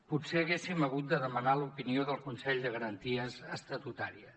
potser haguéssim hagut de demanar l’opinió del consell de garanties estatutàries